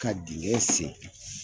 Ka dingɛ sen.